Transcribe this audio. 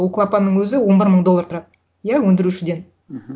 ол клапанның өзі он бір мың доллар тұрады иә өндірушіден мхм